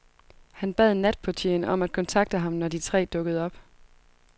Han bad natportieren om at kontakte ham, når de tre dukkede op.